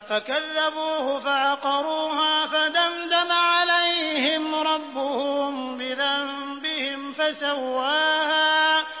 فَكَذَّبُوهُ فَعَقَرُوهَا فَدَمْدَمَ عَلَيْهِمْ رَبُّهُم بِذَنبِهِمْ فَسَوَّاهَا